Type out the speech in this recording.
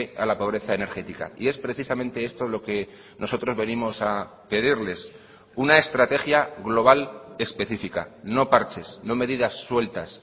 a la pobreza energética y es precisamente esto lo que nosotros venimos a pedirles una estrategia global específica no parches no medidas sueltas